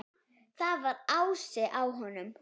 Það var asi á honum.